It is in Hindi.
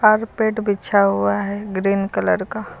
कारपेट बिछा हुआ है ग्रीन कलर का।